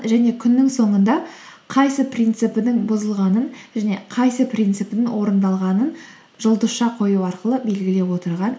және күннің соңында қайсы принципінің бұзылғанын және қайсы принципінің орындалғанын жұлдызша қою арқылы белгілеп отырған